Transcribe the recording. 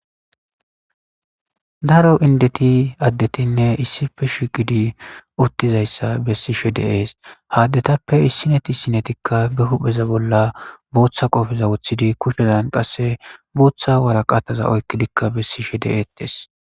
daro indeti addetinne issife shiqidi uttizayssa bessi she de ees haaddetappe issineti sinetikka be hupheza bolla booththa qofeza wothidi kushezan qasse booththa waraqataza oykki dikka bessi she deeetes